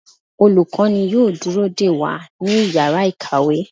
Olukọni yóò dúró dẹ wa ní ìyára ikáwe